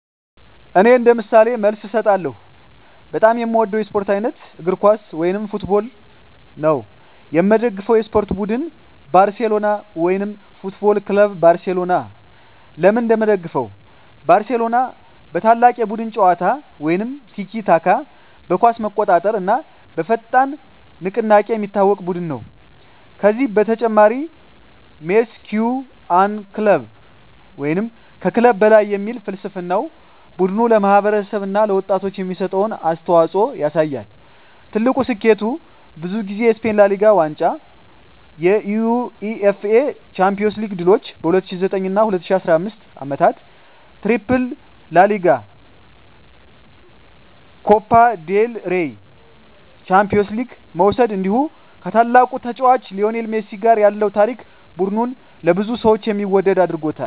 እኔ እንደ ምሳሌ መልስ እሰጣለሁ፦ በጣም የምወደው የስፖርት አይነት: እግር ኳስ (Football) የምደግፈው የስፖርት ቡድን: ባርሴሎና (FC Barcelona) ለምን እንደምደግፈው: ባርሴሎና በታላቅ የቡድን ጨዋታ (tiki-taka)፣ በኳስ መቆጣጠር እና በፈጣን ንቅናቄ የሚታወቅ ቡድን ነው። ከዚህ በተጨማሪ “Mes que un club” (ከክለብ በላይ) የሚል ፍልስፍናው ቡድኑ ለማህበረሰብ እና ለወጣቶች የሚሰጠውን አስተዋፅኦ ያሳያል። ትልቁ ስኬቱ: ብዙ ጊዜ የስፔን ላ ሊጋ ዋንጫ የUEFA ቻምፒዮንስ ሊግ ድሎች በ2009 እና 2015 ዓመታት “ትሪፕል” (ላ ሊጋ፣ ኮፓ ዴል ሬይ፣ ቻምፒዮንስ ሊግ) መውሰድ እንዲሁ ከታላቁ ተጫዋች ሊዮኔል ሜሲ ጋር ያለው ታሪክ ቡድኑን ለብዙ ሰዎች የሚወደድ አድርጎታል።